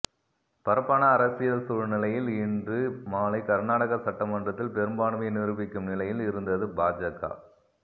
பரப்பான அரசியல் சூழ்நிலையில் இன்று மாலை கர்னாடக சட்டமன்றத்தில் பெரும்பான்மையை நிரூபிக்கும் நிலையில் இருந்தது பாஜக